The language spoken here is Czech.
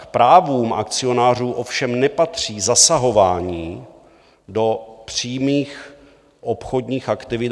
K právům akcionářů ovšem nepatří zasahování do přímých obchodních aktivit.